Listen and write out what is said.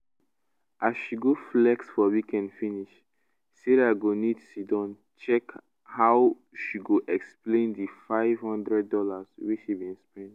as she go flex for weekend finish sarah go need siddon check how she go explain di five hundred dollars wey she bin spend